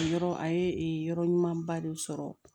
Yɔrɔ a ye yɔrɔ ɲuman ba de sɔrɔ